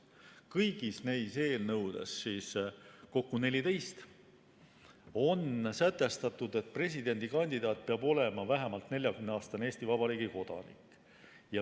Kõigis neis eelnõudes, kokku on neid 14, on sätestatud, et presidendikandidaat peab olema vähemalt 40‑aastane Eesti Vabariigi kodanik.